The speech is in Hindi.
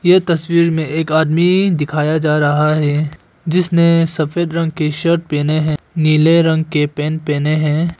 यह तस्वीर में एक आदमी दिखाया जा रहा है जिसने सफेद रंग की शर्ट पहने हैं नीले रंग के पैंट पहने हैं।